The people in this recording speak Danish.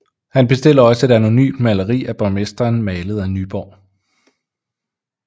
Han bestiller også et anonymt maleri af borgmesteren malet af Nyborg